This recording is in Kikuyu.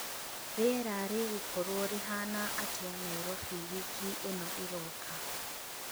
rīera rīgūkorwo rīhana atīa Nairobi wiki īno īroka